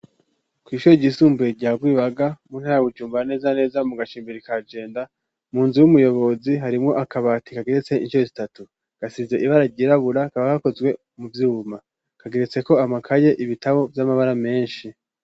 Kw'ishure ryisumbuye rya Rwibaga mu ntaya Bujumbura neza neza mu gacimbiri ka Jenda, mu nzu y'umuyobozi harimwo akabati kageretse incuro zitatu. Gasize ibara ryirabura kakaba gakozwe mu vyuma. Kageretseko amakaye, ibitabo vy'amabara menshi.